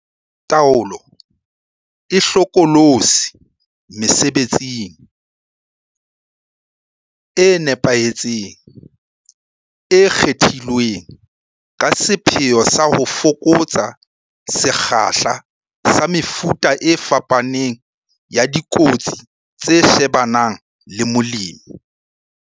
Taolo e hlokolosi mesebetsing e nepahetseng, e kgethilweng ka sepheo sa ho fokotsa sekgahla sa mefuta e fapaneng ya dikotsi tse shebanang le molemi.